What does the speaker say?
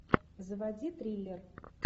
заводи триллер